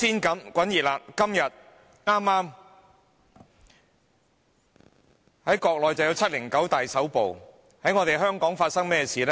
在國內有"七零九大抓捕"，在香港又發生甚麼事呢？